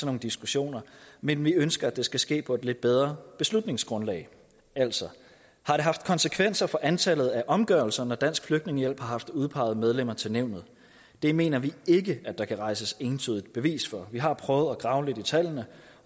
nogle diskussioner men vi ønsker at det skal ske på et lidt bedre beslutningsgrundlag altså har det haft konsekvenser for antallet af omgørelser når dansk flygtningehjælp har haft udpeget medlemmer til nævnet det mener vi ikke at der kan rejses entydigt bevis for vi har prøvet at grave lidt i tallene